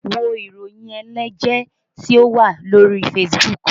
Wo ìròyìn ẹlẹ́jẹ̀ tí ó wà lórí Facebook!